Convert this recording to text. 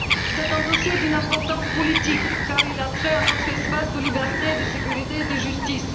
Ce dossier revêt une importance politique car il a trait à notre espace de liberté, de sécurité et de justice.